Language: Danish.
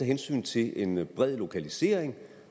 hensyn til en en bred lokalisering